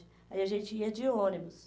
Aí a gente ia de ônibus.